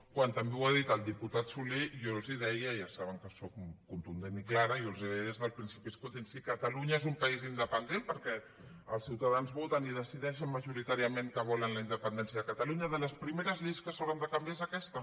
quan també ho ha dit el diputat solé i jo els deia ja saben que sóc contundent i clara jo els ho deia des del principi escoltin si catalunya és un país independent perquè els ciutadans voten i decideixen majoritàriament que volen la independència de catalunya de les primeres lleis que s’hauran de canviar és aquesta